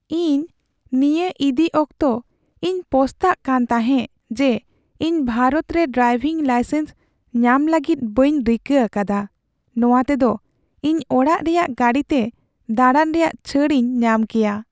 ᱤᱧ ᱱᱤᱭᱟᱹ ᱤᱫᱤ ᱟᱠᱛᱮᱜ ᱤᱧ ᱯᱚᱥᱛᱟᱜ ᱠᱟᱱ ᱛᱟᱦᱮᱸᱜ ᱡᱮ ᱤᱧ ᱵᱷᱟᱨᱚᱛ ᱨᱮ ᱰᱨᱟᱭᱵᱷᱤᱝ ᱞᱟᱭᱥᱮᱱᱥ ᱧᱟᱢ ᱞᱟᱹᱜᱤᱫ ᱵᱟᱹᱧ ᱨᱤᱠᱟᱹ ᱟᱠᱟᱫᱟ ᱾ ᱱᱚᱣᱟ ᱛᱮᱫᱚ ᱤᱧ ᱚᱲᱟᱜ ᱨᱮᱭᱟᱜ ᱜᱟᱹᱰᱤ ᱛᱮ ᱫᱟᱲᱟᱱ ᱨᱮᱭᱟᱜ ᱪᱷᱟᱹᱲ ᱤᱧ ᱧᱟᱢ ᱠᱮᱭᱟ ᱾